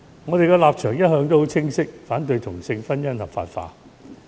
我們的立場一向很清晰，反對同性婚姻合法化。